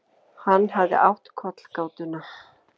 Hann hafði átt kollgátuna.